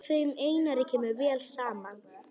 Þeim Einari kemur vel saman.